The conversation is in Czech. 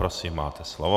Prosím, máte slovo.